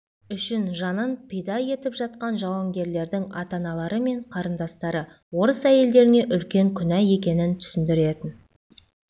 үшін жанын пида етіп жатқан жауынгерлердің ата-аналары мен қарындастары орыс әйелдеріне үлкен күнә екенін түсіндіретін